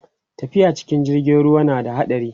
tafiya cikin jirgin ruwa na da haɗari